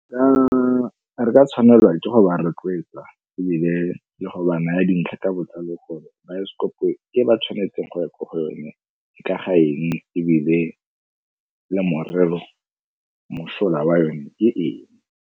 Re ka tshwanelwa ke go ba rotloetsa ebile le go ba naya dintlha ka botlalo gore baesekopo e ba tshwanetseng go ya ko go yone ke ka ga eng ebile le mosola wa yone ke eng.